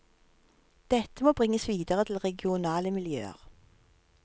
Dette må bringes videre til regionale miljøer.